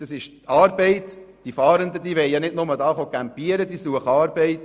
Die Fahrenden wollen nicht nur hier campieren, sondern sie suchen Arbeit.